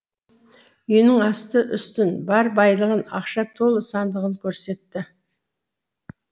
үйінің асты үстін бар байлығын ақша толы сандығын көрсетті